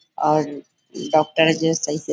और डॉक्टर जो सही से --